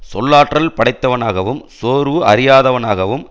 சொல்லாற்றல் படைத்தவனாகவும் சோர்வு அறியாதவனாகவும்